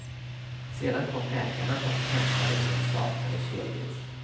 Sedan kom ägarna och hämtade sin saknade kelgris.